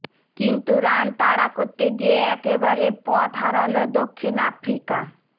কিন্তু রান তাড়া করতে গিয়ে একেবারে পথ রাহাল দক্ষিণ আফ্রিকা